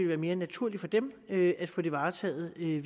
være mere naturligt at få det varetaget af en